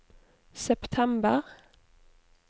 september